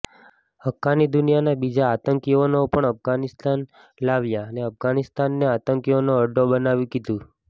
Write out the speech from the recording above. હક્કાની દુનિયાના બીજા આતંકીઓને પણ અફઘાનિસ્તાન લાવ્યો ને અફઘાનિસ્તાનને આતંકીઓનો અડ્ડો બનાવી દીધું